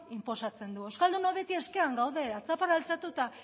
inposatzen du euskaldunok beti eskean gaude atzaparra altxatu